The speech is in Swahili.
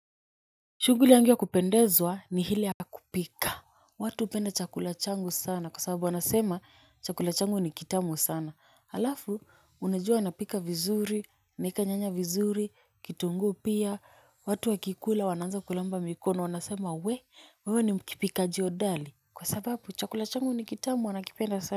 Shughuli yangu ya kupendezwa ni ile ya kupika. Watu hupenda chakula changu sana kwa sababu wanasema chakula changu ni kitamu sana. Halafu unajua napika vizuri, naeka nyanya vizuri, kitunguu pia. Watu wakikula wanaanza kulamba mikono wanasema wewe ni mpikaji hodari. Kwa sababu chakula changu ni kitamu wanakipenda sana.